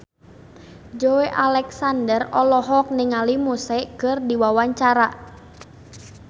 Joey Alexander olohok ningali Muse keur diwawancara